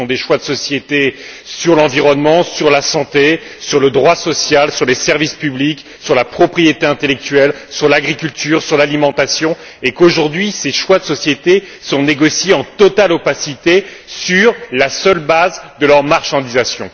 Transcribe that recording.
Ce sont des choix de société sur l'environnement, sur la santé, sur le droit social, sur les services publics, sur la propriété intellectuelle, sur l'agriculture, sur l'alimentation et aujourd'hui ces choix de société sont négociés en totale opacité sur la seule base de leur marchandisation.